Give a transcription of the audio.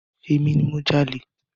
Emi ni mo jalè.